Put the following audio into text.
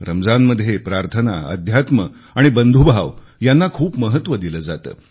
रमजानमध्ये प्रार्थना अध्यात्म आणि दानधर्म यांना खूप महत्त्व दिले जाते